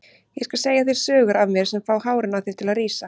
Ég skal segja þér sögur af mér sem fá hárin á þér til að rísa.